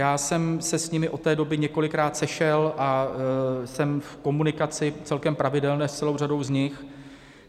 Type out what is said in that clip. Já jsem se s nimi od té doby několikrát sešel a jsem v komunikaci celkem pravidelné s celou řadou z nich.